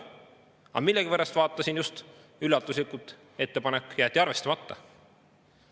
Aga millegipärast – vaatasin just – üllatuslikult jäeti see ettepanek arvestamata.